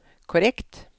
korrekt